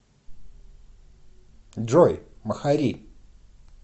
джой махари